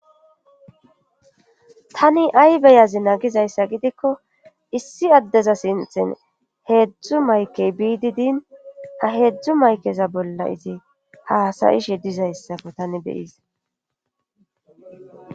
tani ay beyazina gizayssa gidikko issi addeza sinthin heedzdzu maykey biidi din ha heedzdzu maykeza bolla izi haasayishe dizayssako tani beyizay